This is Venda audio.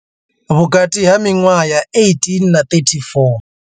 Vhukati ha miṅwaha ya 18 na 34.